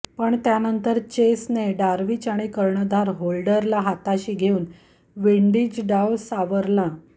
पण त्यानंतर चेसने डार्विच आणि कर्णधार होल्डरला हाताशी घेऊन विंडीज डाव सावरला